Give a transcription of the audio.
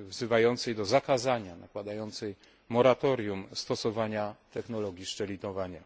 wzywającej do zakazania, nakładającej moratorium stosowania technologii szczelinowania.